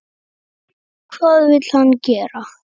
Hvað vill hann gera?